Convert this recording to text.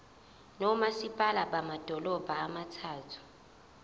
nomasipala bamadolobha abathathu